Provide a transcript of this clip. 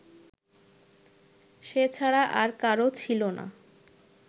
সে ছাড়া আর কারও ছিল না